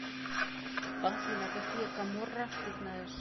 афина какие каморра ты знаешь